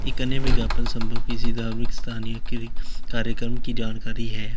इतने विज्ञापन संभव किसी धार्मिक स्थानीय के कार्यक्रम की जानकारी है।